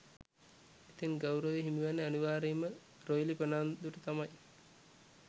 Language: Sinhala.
ඉතින් ගෞරවය හිමිවෙන්නේ අනිවාර්යයෙන්ම රොයිලි ප්‍රනාන්දුට තමයි